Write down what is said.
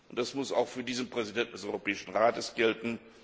Das muss auch für den Präsidenten des Europäischen Rates gelten.